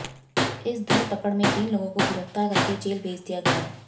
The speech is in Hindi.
इस धरपकड़ में तीन लोगों को गिरफ्तार करके जेल भेज दिया गया